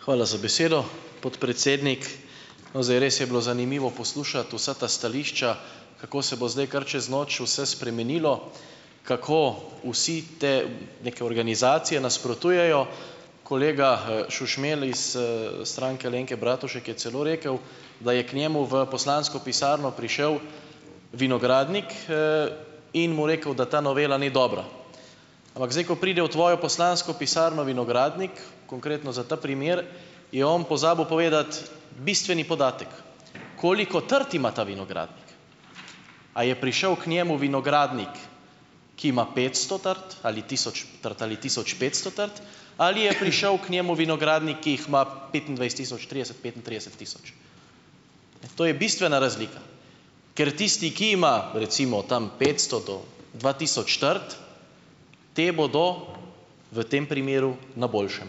Hvala za besedo, podpredsednik. No, zdaj res je bilo zanimivo poslušati vsa ta stališča, kako se bo zdaj kar čez noč vse spremenilo, kako vsi te neke organizacije nasprotujejo, kolega, Šušmelj iz, Stranke Alenke Bratušek je celo rekel, da je k njemu v poslansko pisarno prišel vinogradnik, in mu rekel, da ta novela ni dobra. Ampak zdaj, ko pride v tvojo poslansko pisarno vinogradnik, konkretno za ta primer, je on pozabil povedati bistveni podatek: koliko trt ima ta vinogradnik. A je prišel k njemu vinogradnik, ki ima petsto trt, ali tisoč trt ali tisoč petsto trt, ali je prišel k njemu vinogradnik, ki jih ima petindvajset tisoč, trideset, petintrideset tisoč? Ne. To je bistvena razlika. Ker tisti, ki ima recimo tam petsto do dva tisoč trt, te bodo v tem primeru na boljšem.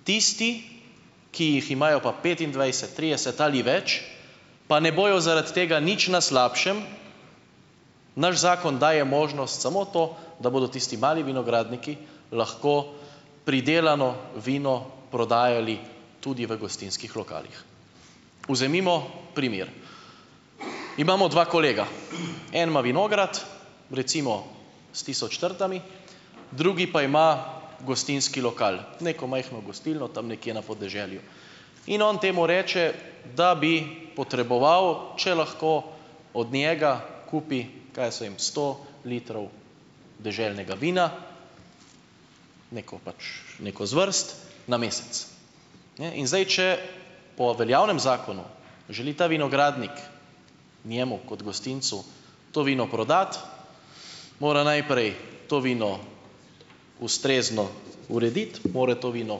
Tisti, ki jih imajo pa petindvajset, trideset ali več, pa ne bojo zaradi tega nič na slabšem, naš zakon daje možnost samo to, da bodo tisti mali vinogradniki lahko pridelano vino prodajali tudi v gostinskih lokalih. Vzemimo primer: imamo dva kolega. En ima vinograd, recimo s tisoč trtami, drugi pa ima gostinski lokal, neko majhno gostilno tam nekje na podeželju. In on temu reče, da bi potreboval, če lahko od njega kupi, kaj jaz vem, sto litrov deželnega vina, neko pač neko zvrst na mesec. Ne, in zdaj, če po veljavnem zakonu želi ta vinogradnik njemu kot gostincu to vino prodati, mora najprej to vino ustrezno urediti, mora to vino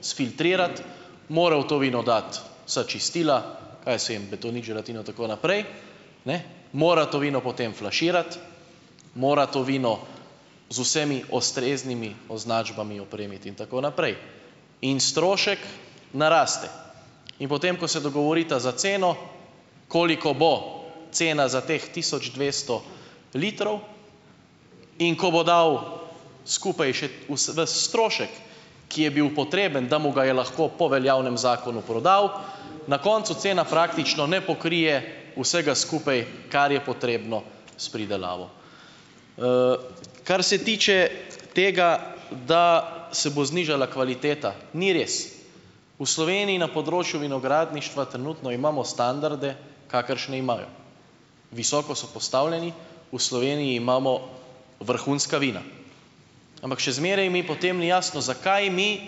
sfiltrirati, mora v to vino dati vsa čistila, kaj jaz vem, betonit, želatino in tako naprej. Ne. Mora to vino potem flaširati, mora to vino z vsemi ustreznimi označbami opremiti in tako naprej. In strošek naraste. In potem, ko se dogovorita za ceno, koliko bo cena za teh tisoč dvesto litrov, in ko bo dal skupaj še ves strošek, ki je bil potreben, da mu ga je lahko po veljavnem zakonu prodal, na koncu cena praktično ne pokrije vsega skupaj, kar je potrebno s pridelavo. Kar se tiče tega, da se bo znižala kvaliteta, ni res. V Sloveniji na področju vinogradništva trenutno imamo standarde, kakršne imajo. Visoko so postavljeni. V Sloveniji imamo vrhunska vina, ampak še zmeraj mi potem ni jasno, zakaj mi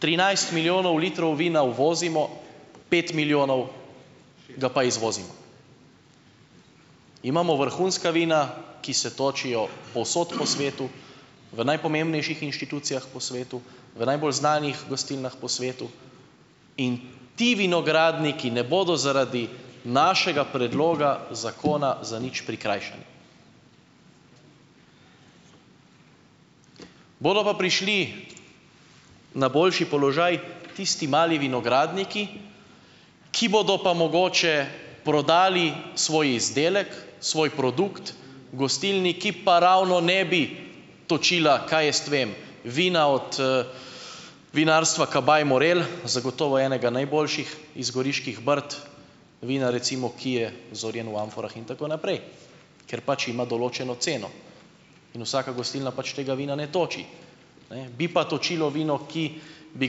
trinajst milijonov litrov vina uvozimo, pet milijonov ga pa izvozimo. Imamo vrhunska vina, ki se točijo povsod po svetu, v najpomembnejših inštitucijah po svetu, v najbolj znanih gostilnah po svetu in ti vinogradniki ne bodo zaradi našega predloga zakona za nič prikrajšani. Bodo pa prišli na boljši položaj tisti mali vinogradniki, ki bodo pa mogoče prodali svoj izdelek, svoj produkt gostilni, ki pa ravno ne bi točila, kaj jaz vem, vina od, vinarstva Kabaj Morel, zagotovo enega najboljših iz Goriških brd, vina recimo, ki je zorjeno v amforah in tako naprej, ker pač ima določeno ceno in vsaka gostilna pač tega vina ne toči. Ne. Bi pa točilo vino, ki bi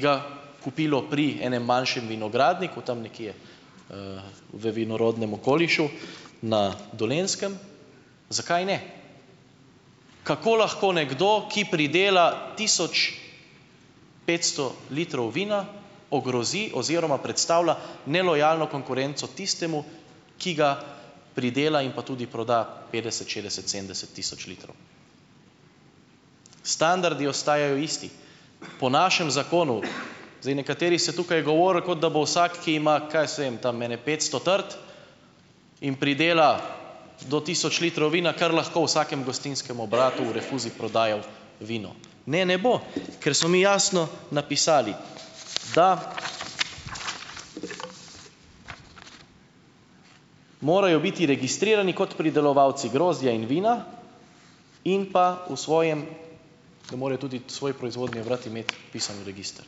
ga kupilo pri enem manjšem vinogradniku, tam nekje, v vinorodnem okolišu na Dolenjskem, zakaj ne? Kako lahko nekdo, ki pridela tisoč petsto litrov vina ogrozi oziroma predstavlja nelojalno konkurenco tistemu, ki ga pridela in pa tudi proda petdeset, šestdeset, sedemdeset tisoč litrov. Standardi ostajajo isti. Po našem zakonu, zdaj nekateri ste tukaj govorili, kot da bo vsak, ki ima - kaj jaz vem, tam ene petsto trt in pridela do tisoč litrov vina, kar lahko v vsakem gostinskem obratu v rinfuzi prodajal vino. Ne, ne bo, ker smo mi jasno napisali, da morajo biti registrirani kot pridelovalci grozdja in vina in pa v svojem, da morajo tudi svoj proizvodni obrat imeti vpisan v register.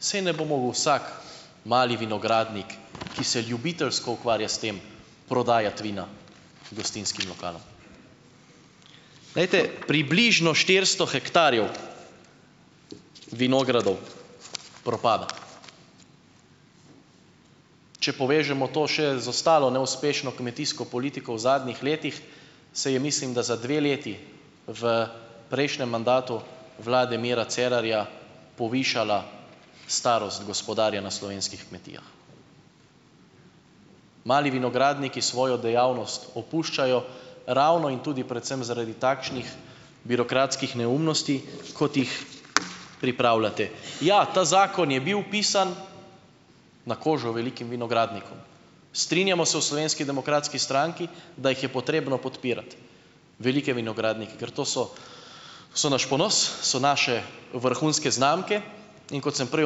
Saj ne bo mogel vsak mali vinogradnik, ki se ljubiteljsko ukvarja s tem, prodajati vina gostinskim lokalom. Glejte, približno štiristo hektarjev vinogradov propada. Če povežemo to še z ostalo neuspešno kmetijsko politiko v zadnjih letih, se je mislim, da za dve leti v prejšnjem mandatu vlade Mira Cerarja, povišala starost gospodarja na slovenskih kmetijah. Mali vinogradniki svojo dejavnost opuščajo ravno in tudi predvsem zaradi takšnih birokratskih neumnosti, kot jih pripravljate. Ja, ta zakon je bil pisan na kožo velikim vinogradnikom. Strinjamo se v Slovenski demokratski stranki, da jih je potrebno podpirati, velike vinogradnike, ker to so so naš ponos, so naše vrhunske znamke, in kot sem prej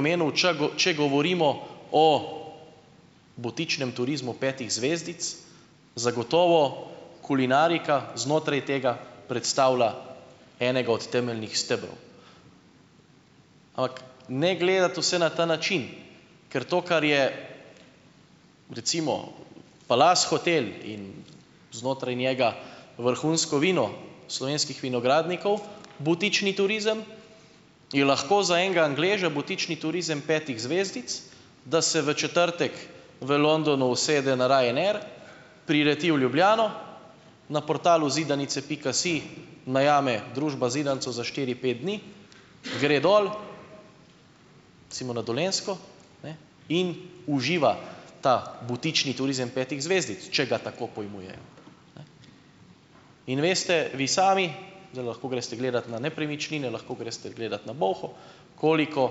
omenil, ča če govorimo o butičnem turizmu petih zvezdic, zagotovo kulinarika znotraj tega predstavlja enega od temeljnih stebrov. Ampak ne gledati vse na ta način, ker to, kar je recimo Palace hotel in znotraj njega vrhunsko vino slovenskih vinogradnikov, butični turizem, je lahko za enega Angleža butični turizem petih zvezdic, da se v četrtek v Londonu usede na Ryanair, prileti v Ljubljano, na portalu Zidanice pika si najame družba zidanico za štiri, pet dni, gre dol, recimo na Dolenjsko, ne, in uživa ta butični turizem petih zvezdic, če ga tako pojmuje, ne. In veste vi sami, zdaj lahko greste gledat na Nepremičnine, lahko greste gledat na Bolho, koliko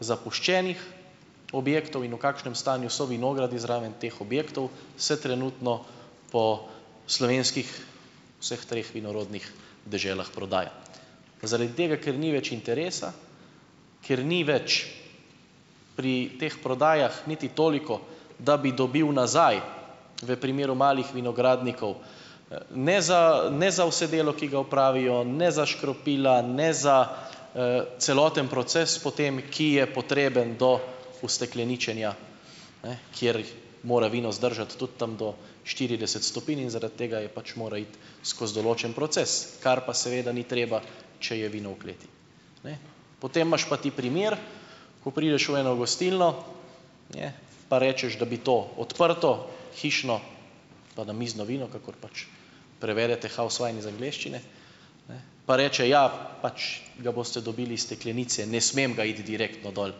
zapuščenih objektov in v kakšnem stanju so vinogradi zraven teh objektov, se trenutno po slovenskih vseh treh vinorodnih deželah prodaja. Zaradi tega, ker ni več interesa, ker ni več pri teh prodajah niti toliko, da bi dobil nazaj v primeru malih vinogradnikov, ne, za, ne za vse delo, ki ga opravijo, ne za škropila, ne za, celoten proces potem, ki je potreben do ustekleničenja, ne, kjer jih mora vino zdržati tudi tam do štirideset stopinj in zaradi tega pač mora iti skozi določen proces, kar pa seveda ni treba, če je vino v kleti, ne. Potem imaš pa ti primer, ko prideš v eno gostilno, ne, pa rečeš, da bi to odprto hišno pa namizno vino, kakor pač prevedete house wine iz angleščine, ne pa reče: "Ja, pač ga boste dobili iz steklenice, ne smem ga iti direktno dol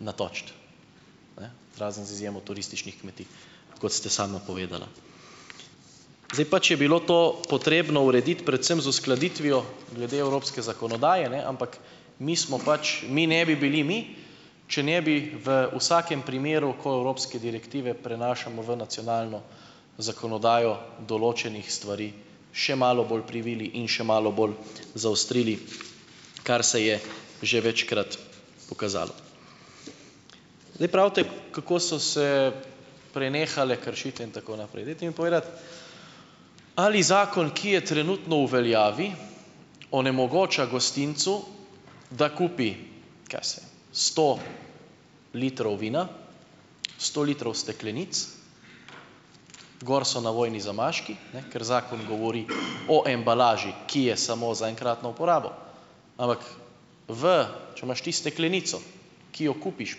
natočit." Ne - razen z izjemo turističnih kmetij, kot ste sama povedala. Zdaj, pač je bilo to potrebno urediti predvsem z uskladitvijo glede evropske zakonodaje, ne, ampak mi smo pač ... mi ne bi bili mi, če ne bi v vsakem primeru, ko evropske direktive prenašamo v nacionalno zakonodajo, določenih stvari še malo bolj privili in še malo bolj zaostrili, kar se je že večkrat pokazalo. Zdaj pravite, kako so se prenehale kršitve in tako naprej. Dajte mi povedati, ali zakon, ki je trenutno v veljavi, onemogoča gostincu, da kupi, kaj jaz vem, sto litrov vina, sto litrov steklenic, gor so navojni zamaški, ne, ker zakon govori o embalaži, ki je samo za enkratno uporabo, ampak v, če imaš ti steklenico, ki jo kupiš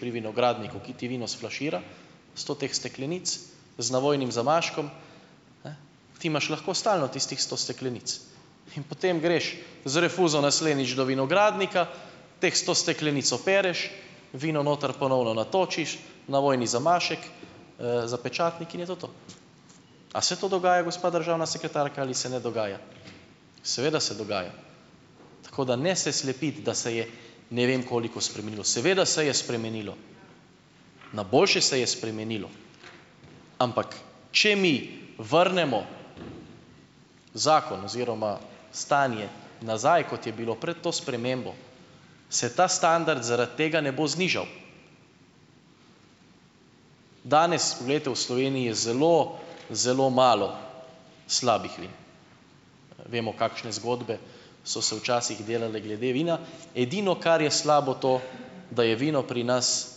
pri vinogradniku, ki ti vino sflašira, sto teh steklenic z navojnim zamaškom, ne, ti imaš lahko stalno tistih sto steklenic, in potem greš z rinfuzo naslednjič do vinogradnika, teh sto steklenic opereš, vino notri ponovno natočiš, navojni zamašek, zapečatnik in je to to. A se to dogaja, gospa državna sekretarka ali se ne dogaja? Seveda se dogaja. Tako, da ne se slepiti, da se je ne vem koliko spremenilo. Seveda se je spremenilo, na boljše se je spremenilo, ampak če mi vrnemo zakon oziroma stanje nazaj, kot je bilo pred to spremembo, se ta standard zaradi tega ne bo znižal. Danes, glejte, v Sloveniji je zelo zelo malo slabih vin. Vemo, kakšne zgodbe so se včasih delale glede vina. Edino, kar je slabo, to, da je vino pri nas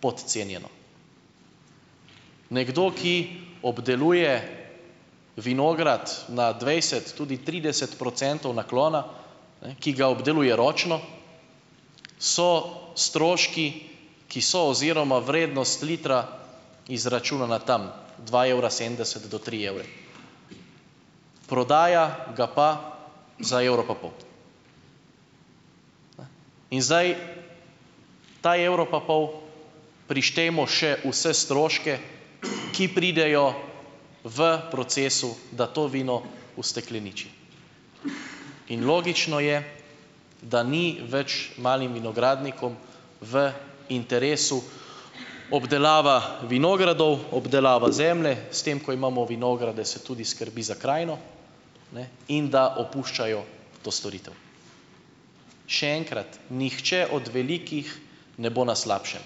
podcenjeno. Nekdo, ki obdeluje vinograd na dvajset, tudi trideset procentov naklona, ne, ki ga obdeluje ročno, so stroški, ki so, oziroma vrednost litra izračunana tam, dva evra sedemdeset do tri evre. Prodaja ga pa za evro pa pol. Ne. In zdaj, ta evro pa pol prištejmo še vse stroške, ki pridejo v procesu, da to vino ustekleniči. In logično je, da ni več malim vinogradnikom v interesu, obdelava vinogradov, obdelava zemlje, s tem ko imamo vinograde, se tudi skrbi za krajino, ne, in da opuščajo to storitev. Še enkrat, nihče od velikih ne bo na slabšem,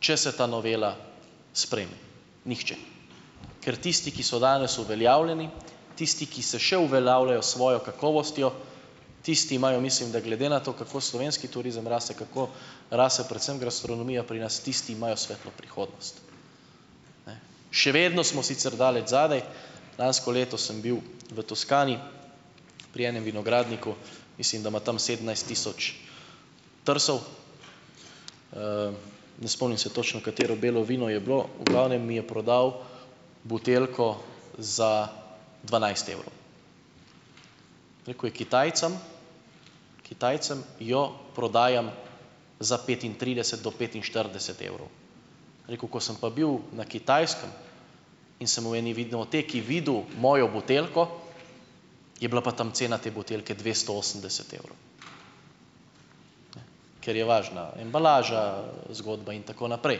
če se ta novela sprejme. Nihče. Ker tisti, ki so danes uveljavljeni, tisti, ki se še uveljavljajo s svojo kakovostjo, tisti imajo, mislim da, glede na to, kako slovenski turizem raste, kako raste predvsem gastronomija pri nas, tisti imajo svetlo prihodnost. Ne. Še vedno smo sicer daleč zadaj. Lansko leto sem bil v Toskani pri enem vinogradniku, mislim, da ima tam sedemnajst tisoč trsov, ne spomnim se točno, katero belo vino je bilo, v glavnem mi je prodal buteljko za dvanajst evrov. Rekel je, Kitajcem, Kitajcem jo prodajam za petintrideset do petinštirideset evrov. Je rekel, ko sem pa bil na Kitajskem in sem v eni vinoteki videl mojo buteljko, je bila pa tam cena te buteljke dvesto osemdeset evrov, ker je važna embalaža, zgodba in tako naprej.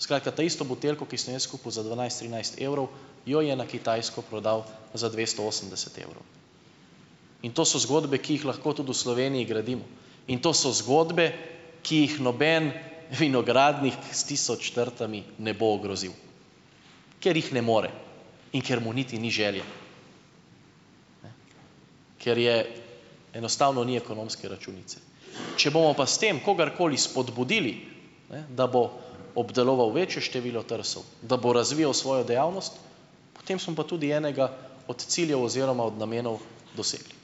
Skratka, to isto buteljko, ki sem jo jaz kupil za dvanajst, trinajst evrov, jo je na Kitajsko prodal za dvesto osemdeset evrov. In to so zgodbe, ki jih lahko tudi v Sloveniji gradimo, in to so zgodbe, ki jih noben vinogradnik s tisoč trtami ne bo ogrozil, ker jih ne more in ker mu niti ni želje. Ne. Ker je enostavno ni ekonomske računice. Če bomo pa s tem kogarkoli spodbudili, ne, da bo obdeloval večje število trsov, da bo razvijal svojo dejavnost, potem smo pa tudi enega od ciljev oziroma od namenov dosegli.